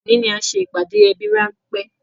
Òní ni a ṣe ìpàdé ẹbí ránpẹ́